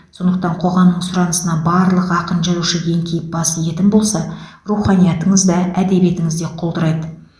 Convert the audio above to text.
сондықтан қоғамның сұранысына барлық ақын жазушы еңкейіп бас иетін болса руханиятыңыз да әдебиетіңіз де құлдырайды